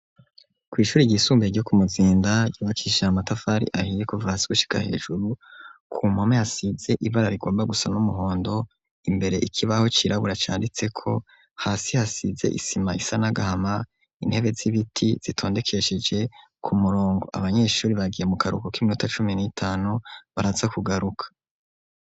kw'ishuri ry'isumbuye ryo ku Muzinda yubakishije matafari ahiye kuva hasi gushika hejuru, ku mpome hasize ibara rigomba gusa n'umuhondo, imbere ikibaho c'irabura canditseko, hasi hasize isima isa nagahama, intebe z'ibiti zitondekesheje ku murongo. Abanyeshuri bagiye mu karuhuko k'iminota cumi n'itanu baraza kugaruka.